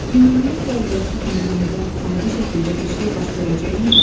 Ümumiyyətlə əvvəlki kimi yenidən adi şəkildə bir şey baş verəcəkmi?